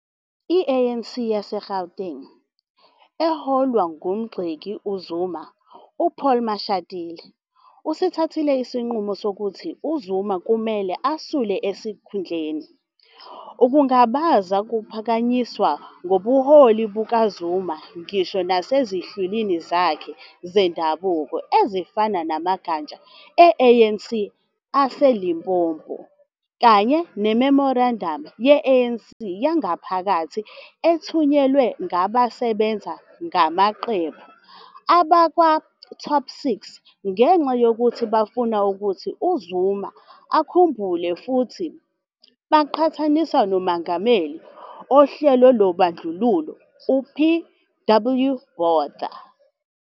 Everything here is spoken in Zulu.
I-ANC yaseGauteng, eholwa ngumgxeki uZuma uPaul Mashatile, isithathile isinqumo sokuthi uZuma kumele esule esikhundleni, ukungabaza kuphakanyisiwe ngobuholi bukaZuma ngisho nasezinhlwini zakhe zendabuko ezifana namagatsha e-ANC aseLimpopo, kanye nememorandamu ye-ANC yangaphakathi ethunyelwe ngabasebenza ngamaqembu kwabakwaTop six ngenxa yokuthi bafuna ukuthi uZuma akhumbule futhi bamqhathanisa noMengameli Uhlelo lobandlululo PW Botha.